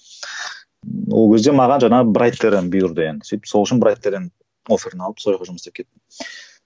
ол кезде маған жаңағы бұйырды енді сөйтіп сол үшін сояққа жұмыс істеп кеттім